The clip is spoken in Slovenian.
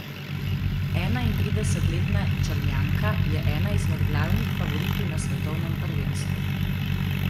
Enaintridesetletna Črnjanka je ena izmed glavnih favoritinj na svetovnem prvenstvu.